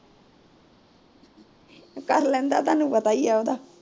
ਕਰ ਲੈਂਦਾ ਤੁਹਾਨੂੰ ਪਤਾ ਈ ਐ ਉਂਦਾ